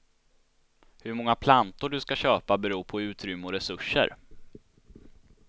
Hur många plantor du ska köpa beror på utrymme och resurser.